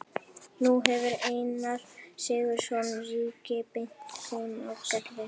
Nú hefur Einar Sigurðsson ríki bent þeim á Gerði.